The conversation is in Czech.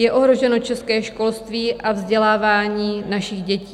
Je ohroženo české školství a vzdělávání našich dětí.